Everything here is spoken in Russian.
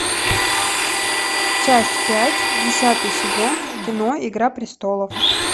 часть пять десятый сезон кино игра престолов